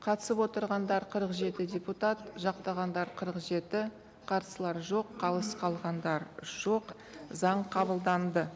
қатысып отырғандар қырық жеті депутат жақтағандар қырық жеті қарсылар жоқ қалыс қалғандар жоқ заң қабылданды